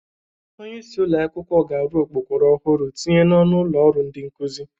Onyeisi ụlọ akwụkwọ ga-arụ okpokoro ọhụrụ tinye n'ọnụ ụlọ ọrụ ndị nkụzị.